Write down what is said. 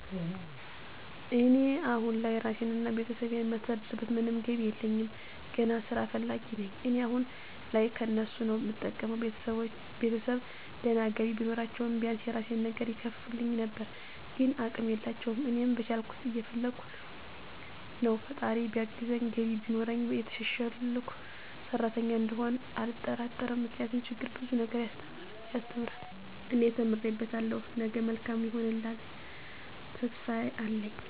እኔ አሁን ላይ ራሴን እና ቤተሰቤን የማስተዳድርበት ምንም ገቢ የለኝም። ገነት ስራ ፈላጊ ነኝ እኔ አሁን ላይ ከነሱ ነዉ እምጠብቀው፣ ቤተሰብ ድና ገቢ ቢኖራችዉ ቢያንስ የራሴን ነገር ይከፍቱልኝ ነበር ግን አቅም የላቸውም። እኔም በቻልኩት እየፈለከ ነው ፈጣራ ቢያግዘኝ ገቢ ቢኖረኝ የተሸሸልኩ ሰሪተኛ እንደምሆን አልጠራጠርም ምክንያቱም ችግር ብዙ ነገር ያሰተምራል እኔ ተምሬበታለሁ ነገ መልካም ይሆነልተሰፊፋ አለኝ።